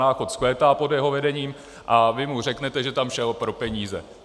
Náchod vzkvétá pod jeho vedením, a vy mu řeknete, že tam šel pro peníze.